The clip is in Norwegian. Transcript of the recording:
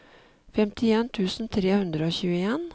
femtien tusen tre hundre og tjueen